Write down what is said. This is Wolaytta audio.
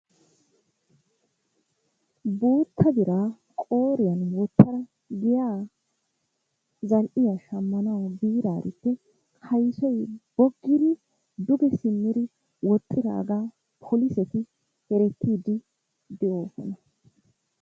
Guutta biraa qooriyan wotada giya zal'iya shamanwu biidaarissi kaysoy bogidi duge simmidi woxxiyaga poliseti oyqqidosona.